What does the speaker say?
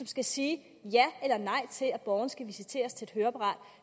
skal sige ja eller nej til at borgeren skal visiteres til et høreapparat